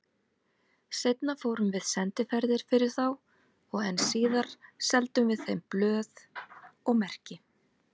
Seinna fórum við sendiferðir fyrir þá og enn síðar seldum við þeim blöð og merki.